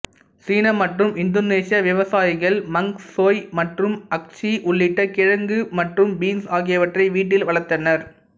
சீன மற்றும் இந்தோனேசிய விவசாயிகள் மங் சோய் மற்றும் அஸுகி உள்ளிட்ட கிழங்கு மற்றும் பீன்ஸ் ஆகியவற்றை வீட்டில் வளர்த்தனர்